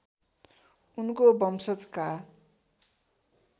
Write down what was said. उनको वंशजका